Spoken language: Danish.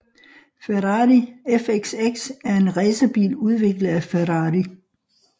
Ferrari FXX er en racerbil udviklet af Ferrari